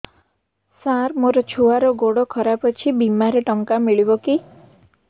ସାର ମୋର ଛୁଆର ଗୋଡ ଖରାପ ଅଛି ବିମାରେ ଟଙ୍କା ମିଳିବ କି